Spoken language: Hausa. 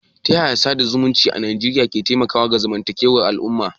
Ta yaya sada zumunci a Najeriya ke taimakawa ga zamantakewar al'umma?